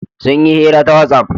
Sun yi hira ta whatsapp.